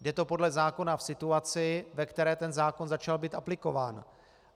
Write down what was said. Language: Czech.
Je to podle zákona v situaci, ve které ten zákon začal být aplikován.